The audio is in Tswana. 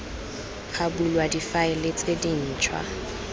ga bulwa difaele tse dintšhwa